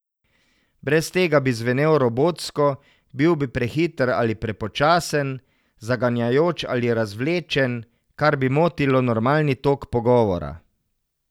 Brez tega bi zvenel robotsko, bil bi prehiter ali prepočasen, zaganjajoč ali razvlečen, kar bi motilo normalni tok pogovora.